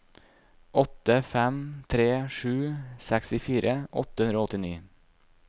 åtte fem tre sju sekstifire åtte hundre og åttini